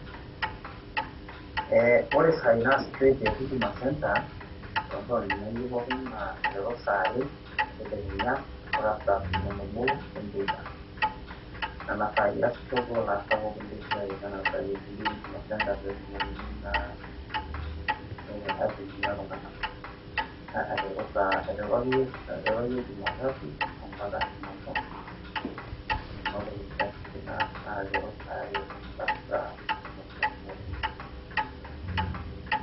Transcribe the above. ore isaai naasishoi te huduma center naa aiteru saa are entedekenya mpaka saa tomon oobo enteipa, nena saai easisho ilaasak le siai, nena saai ebolieki huduma center pee etumokini naa aihudumia iltunganak, aiteru akeyie jumatatu mpaka jumamosi nena oolongi easishoreki aiteru saa are mpaka saa tomon oobo enteipa.